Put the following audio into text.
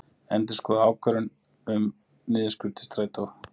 Endurskoði ákvörðun um niðurskurð til Strætó